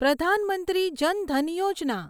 Pradhan Mantri Jan Dhan Yojana